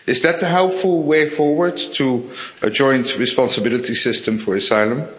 Is that a helpful way forward to a joint responsibility system for asylum?